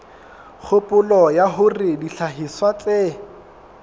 kgopolo ya hore dihlahiswa tse